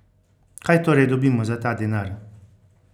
Kaj torej dobimo za ta denar?